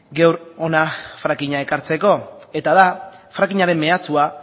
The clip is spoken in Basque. gaur hona frackinga ekartzeko eta da frackingaren mehatxua